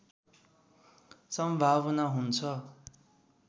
सम्भावना हुन्छ